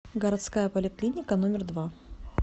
городская поликлиника номер два